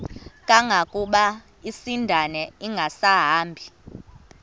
kangangokuba isindane ingasahambi